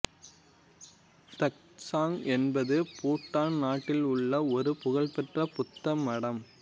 தக்த்சாங் என்பது பூட்டான் நாட்டில் உள்ள ஒரு புகழ்பெற்ற புத்த மடம்